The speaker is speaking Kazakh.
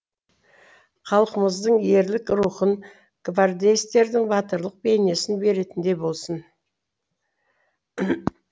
халқымыздың ерлік рухын гвардеецтердің батырлық бейнесін беретіндей болсын